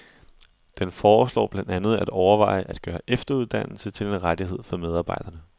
Den foreslår blandt andet at overveje at gøre efteruddannelse til en rettighed for medarbejderne.